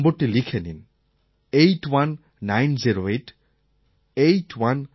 আপনিও নম্বরটি লিখে নিন 81908 81908